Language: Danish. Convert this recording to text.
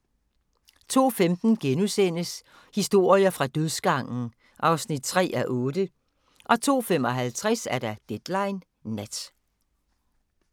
02:15: Historier fra dødsgangen (3:8)* 02:55: Deadline Nat